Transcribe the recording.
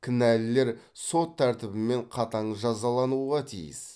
кінәлілер сот тәртібімен қатаң жазалануға тиіс